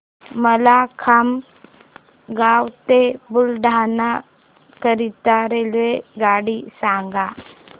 मला खामगाव ते बुलढाणा करीता रेल्वेगाडी सांगा